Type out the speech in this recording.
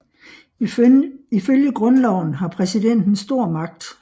Ifølge grundloven har præsidenten stor magt